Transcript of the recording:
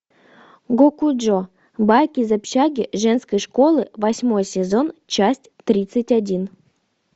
гокуджо байки из общаги женской школы восьмой сезон часть тридцать один